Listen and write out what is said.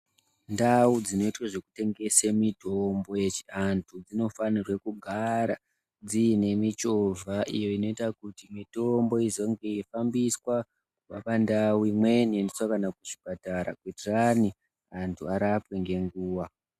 Ndawu dzinoyitwe dzekutengeswe mitombo yechi antu dzinofanirwe kugara dziyinemichova , iyo inoita kuti mitombo izonge yeyifambiswa pandawu imweni ichiendiswa kana kuchipatara kuitirani vantu varapwe ngenguwa.